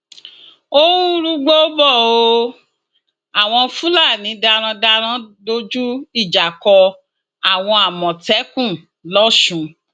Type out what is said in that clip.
ó ń rúgbòó bò ó àwọn fúlàní darandaran dojú ìjà kọ àwọn àmọtẹkùn lọsùn